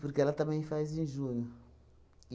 Porque ela também faz de junho.